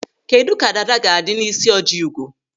Kedụ ka dada ga-adị n'isi Ojiugo?